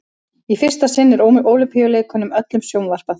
í fyrsta sinn er ólympíuleikunum öllum sjónvarpað